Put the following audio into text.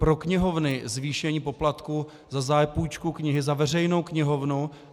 Pro knihovny zvýšení poplatku za zápůjčku knihy, za veřejnou knihovnu.